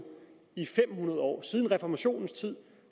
i fem hundrede år siden reformationen